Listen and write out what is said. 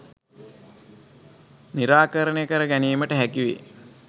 නිරාකරණය කර ගැනීමට හැකිවේ